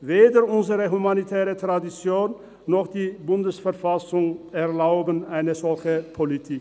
Weder unsere humanitäre Tradition noch die Bundesverfassung erlauben eine solche Politik.